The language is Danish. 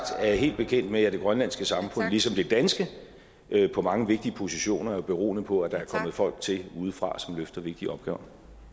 er jeg helt bekendt med at det grønlandske samfund ligesom det danske på mange vigtige positioner er beroende på at der er kommet folk til udefra som løfter vigtige opgaver